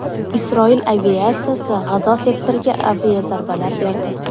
Isroil aviatsiyasi G‘azo sektoriga aviazarbalar berdi.